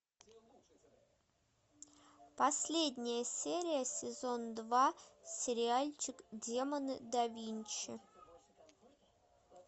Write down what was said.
последняя серия сезон два сериальчик демоны да винчи